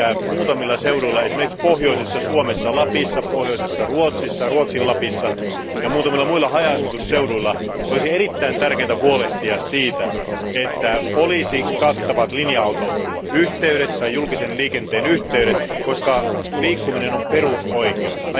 Muutamilla seuduilla, esimerkiksi pohjoisessa Suomessa, Lapissa, pohjoisessa Ruotsissa, Ruotsin Lapissa ja muutamilla muilla haja asutusseuduilla olisi erittäin tärkeätä huolehtia siitä, että olisi kattavat linja autoyhteydet tai julkisen liikenteen yhteydet, koska liikkuminen on perusoikeus.